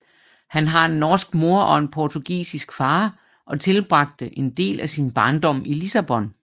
Han har en norsk mor og en portugisisk far og tilbragte en del af sin barndom i Lissabon